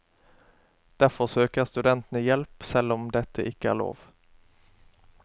Derfor søker studentene hjelp selv om dette ikke er lov.